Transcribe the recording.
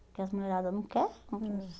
Porque as mulheradas não quer.